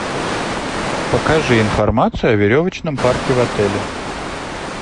покажи информацию о веревочном парке в отеле